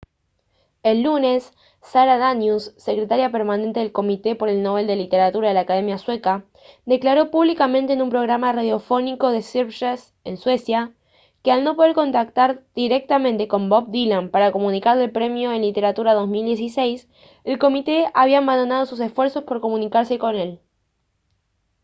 el lunes sara danius secretaria permanente del comité por el nobel de literatura de la academia sueca declaró públicamente en un programa radiofónico de sveriges en suecia que al no poder contactar directamente con bob dylan para comunicarle el premio en literatura 2016 el comité había abandonado sus esfuerzos por comunicarse con él